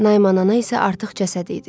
Naiman ana isə artıq cəsəd idi.